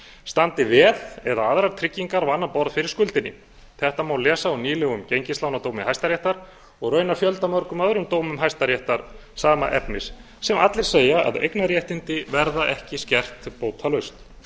standi veð eða aðrar tryggingar á annað borð fyrir skuldinni þetta má lesa úr nýlegum gengislánadómi hæstaréttar og raunar fjöldamörgum öðrum dómum hæstaréttar sama efnis sem allir segja að eignarréttindi verða ekki skert bótalaust